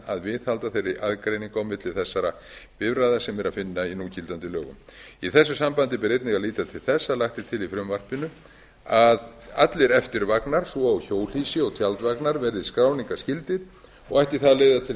að viðhalda þeirri aðgreiningu á milli þessara bifreiða sem er að finna í núgildandi lögum í þessu sambandi ber einnig að líta til þess að lagt er til í frumvarpinu að allir eftirvagnar svo og hjólhýsi og tjaldvagnar verði skráningarskyldir og ætti það að leiða til